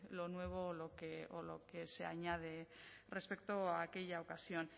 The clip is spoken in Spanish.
lo nuevo o lo que se añade respecto a aquella ocasión